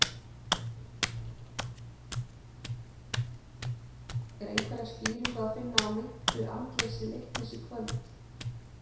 Er einhverja skýringu að finna á meintu andleysi Leiknis í kvöld?